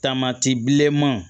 Tamati bilenman